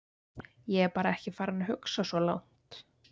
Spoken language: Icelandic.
Ég bara er ekki farinn að hugsa svo langt.